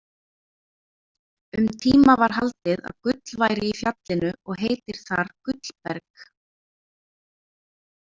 Um tíma var haldið að gull væri í fjallinu og heitir þar Gullberg.